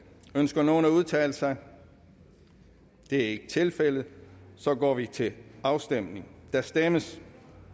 ønsker nogen at udtale sig det er ikke tilfældet så går vi til afstemning og der stemmes